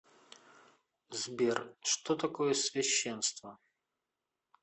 сбер что такое священство